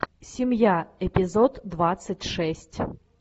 семья эпизод двадцать шесть